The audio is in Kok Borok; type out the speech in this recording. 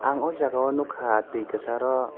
ang ojaga nogkha tui kesar ro.